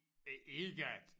Øh ikke at